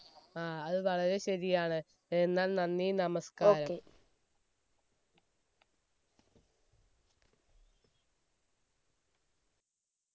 ആ അത് വളരെ ശരിയാണ് എന്നാൽ നന്ദി നമസ്ക്കാരം